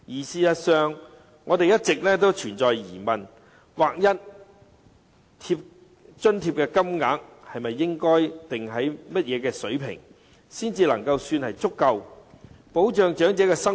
事實上，我們一直存有疑問，劃一津貼金額究竟應定在甚麼水平，才足夠保障長者生活？